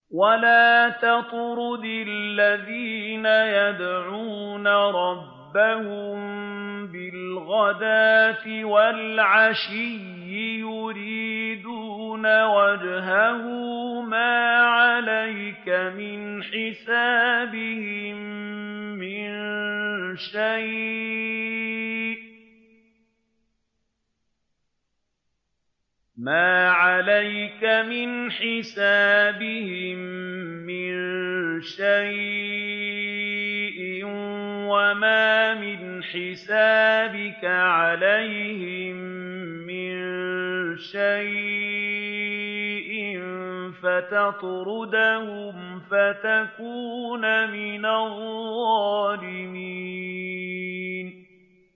وَلَا تَطْرُدِ الَّذِينَ يَدْعُونَ رَبَّهُم بِالْغَدَاةِ وَالْعَشِيِّ يُرِيدُونَ وَجْهَهُ ۖ مَا عَلَيْكَ مِنْ حِسَابِهِم مِّن شَيْءٍ وَمَا مِنْ حِسَابِكَ عَلَيْهِم مِّن شَيْءٍ فَتَطْرُدَهُمْ فَتَكُونَ مِنَ الظَّالِمِينَ